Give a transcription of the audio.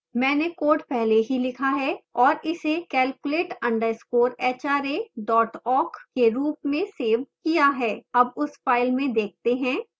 मैंने code पहले ही लिखा है और इसे calculate _ hra awk के रूप में सेव किया है अब उस फाइल में देखते हैं